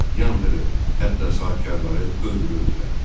yandırır, hətta sahibkarları öldürürdülər.